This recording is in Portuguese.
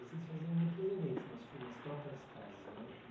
Vocês faziam outros eventos nas su, nas próprias casas, né?